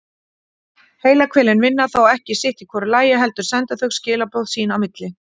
Heilahvelin vinna þó ekki sitt í hvoru lagi heldur senda þau skilaboð sín á milli.